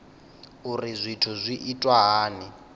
uri zwithu zwi itwa hani